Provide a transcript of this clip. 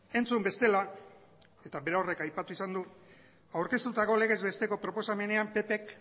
entzun bestela eta berorrek aipatu izan du aurkeztutako legez besteko proposamenean ppk